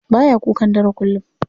Baya kukan dare kullum.